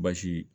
Basi